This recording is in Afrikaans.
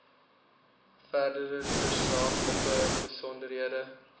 verdere tersaaklike besonderhede